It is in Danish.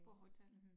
På hotellet